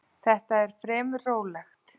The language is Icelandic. Þetta er fremur rólegt.